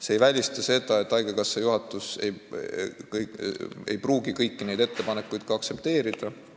See ei välista seda, et haigekassa juhatus ei pruugi kõiki ettepanekuid aktsepteerida.